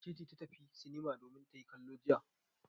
Wace ce ta tafi sinima domin ta yi kallo jiya?